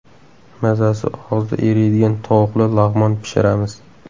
Mazasi og‘izda eriydigan tovuqli lag‘mon pishiramiz.